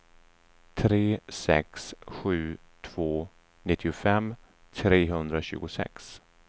tre sex sju två nittiofem trehundratjugosex